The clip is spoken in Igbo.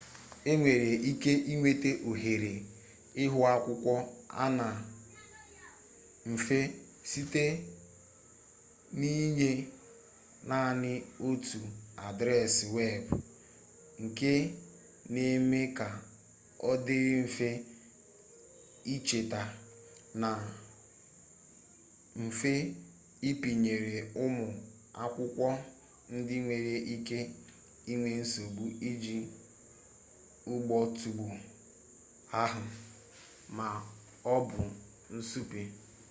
e nwere ike inweta ohere ihuakwụkwọ a na mfe site n'inye naanị otu adreesị weebụ nke na-eme ka ọ dịrị mfe icheta na mfe ịpịnyere ụmụ akwụkwọ ndị nwere ike inwe nsogbu iji ụgbọọtụgwo ahụ ma ọ bụ na nsụpe